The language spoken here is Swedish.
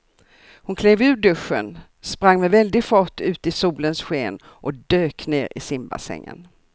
Hon klev ur duschen, sprang med väldig fart ut i solens sken och dök ner i simbassängen.